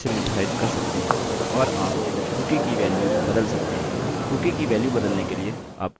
और फिर यहाँ से यदि आप चाहें तो आप इसे फिर से निर्धारित कर सकते हैं और आप कूकीcookie की वेल्युस बदल सकते हैं